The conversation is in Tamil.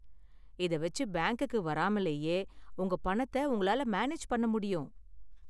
இத வெச்சு பேங்க்குக்கு வராமலேயே உங்க பணத்தை உங்களால மேனேஜ் பண்ண முடியும்.